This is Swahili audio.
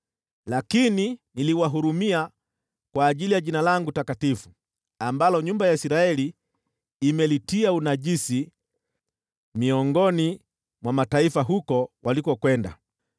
Lakini niliwahurumia kwa ajili ya Jina langu takatifu, ambalo nyumba ya Israeli imelitia unajisi miongoni mwa mataifa huko walikokwenda.